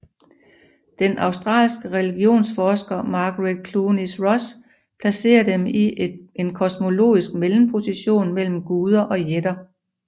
Den australske religionsforsker Margaret Clunies Ross placerer dem i en kosmologisk mellemposition mellem guder og jætter